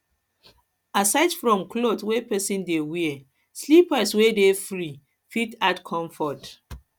aside from cloth wey person dey wear slippers wey dey free fit add to comfort